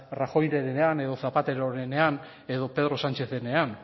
rajoyrenean edo zapaterorenean edo pedro sánchezenean